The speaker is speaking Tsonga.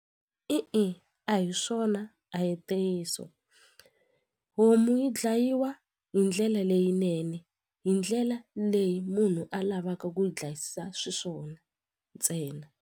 I i a hi swona a hi ntiyiso homu yi dlayiwa hi ndlela leyinene hi ndlela leyi munhu a lavaka ku dlayisisa swiswona ntsena.